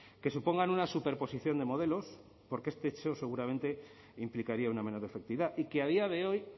que supongan una superposición de modelos porque este hecho seguramente implicaría una menor efectividad y que a día de hoy